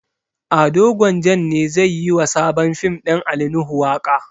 Ado gwanjan ne zai yi wa sabon fim ɗin ali nuhu waƙa